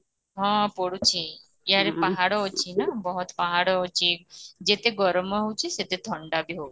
ହଁ ପଡୁଛି ଏଆଡ଼େ ପାହାଡ ଅଛି ନା ବହୁତ ପାହାଡ଼ ଅଛି ଯେତେ ଗରମ ହଉଚି ସେତେ ଥଣ୍ଡା ବି ହଉଚି